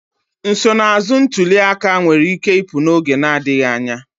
Nsonaazụ ntuli aka nwere ike ịpụ n'oge adịghị anya.